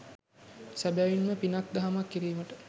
සැබැවින්ම පිනක් දහමක් කිරීමට